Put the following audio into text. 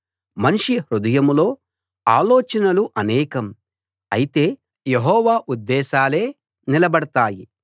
మనిషి హృదయంలో ఆలోచనలు అనేకం అయితే యెహోవా ఉద్దేశాలే నిలబడతాయి